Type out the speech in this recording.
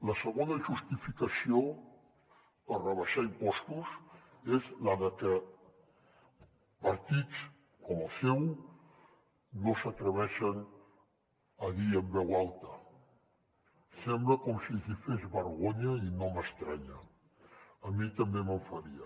la segona justificació per rebaixar impostos és la que partits com el seu no s’atreveixen a dir en veu alta sembla com si els hi fes vergonya i no m’estranya a mi també me’n faria